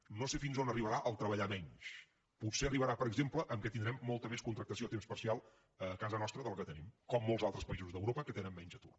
no sé fins on arribarà treballar menys potser arribarà per exemple que tindrem molta més contractació a temps parcial a casa nostra que la que tenim com molts altres països d’europa que tenen menys atur